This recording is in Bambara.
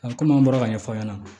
komi an bɔra ka ɲɛfɔ an ɲɛna